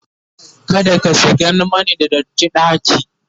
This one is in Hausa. kada ka shigan Mani da datti ɗaki!